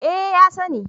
Eh ya sani